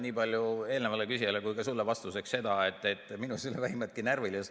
Nii palju eelnevale küsijale kui ka sulle vastuseks: minus ei ole vähimatki närvilisust.